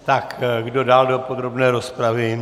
Tak kdo dál do podrobné rozpravy?